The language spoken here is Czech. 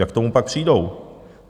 Jak k tomu pak přijdou?